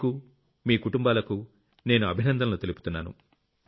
మీకు మీ కుటుంబాలకు నేను అభినందనలు తెలుపుతున్నాను